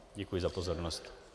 Děkuji za pozornost.